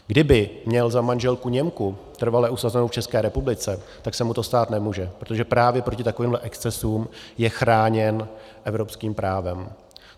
Kdyby měl za manželku Němku trvale usazenou v České republice, tak se mu to stát nemůže, protože právě proti takovým excesům je chráněn evropským právem.